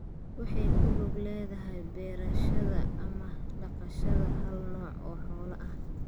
waxay ku lug leedahay beerashada ama dhaqashada hal nooc oo xoolo ah.